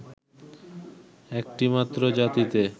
একটি মাত্র জাতিতে